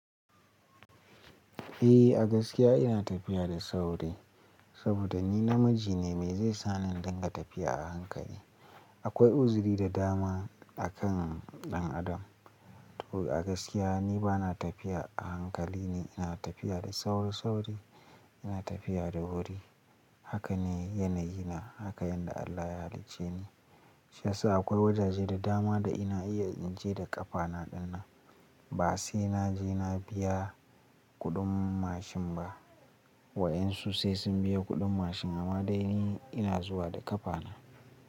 Eh a gaskiya ina tafiya da sauri saboda ni namiji ne, me zai sani in dinga tafiya a hankali? Akwai uzuri da dama a kan ɗan adam. To a gaskiya ni ba na tafiya a hankali ne, ina tafiya da sauri-sauri, ina tafiya da wuri. Hakane yanayi na, haka yanda Allah ya halicce ni. Shi yasa akwai wajaje da dama da ina iya in je da ƙafana ɗinnan ba sai naje na biya kuɗin mashin ba. Waƴansu sai sun biya kuɗin mashin amma dai ni ina zuwa da ƙafana.